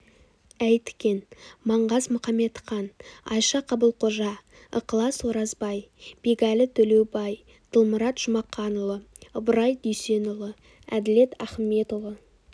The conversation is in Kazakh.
әйтікен маңғаз мұқаметқан айша қабылқожа ықылас оразбай бегәлі төлеубай дылмұрат жұмақанұлы ыбырай дүйсенұлы әділет ахыметұлы